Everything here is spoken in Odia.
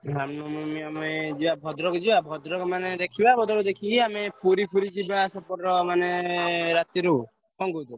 ରାମନବମୀ ଆମେ ଯିବା ଭଦ୍ରକ ଯିବା ଭଦ୍ରକ ମାନେ ଦେଖିବା ଭଦ୍ରକ ଦେଖିକି ଆମେ ପୁରୀ ଫୁରି ସେ ଯାହା ସେପଟର ମାନେ ରାତିରୁ କଣ କହୁଛ?